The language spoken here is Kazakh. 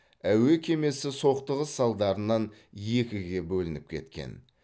әуе кемесі соқтығыс салдарынан екіге бөлініп кеткен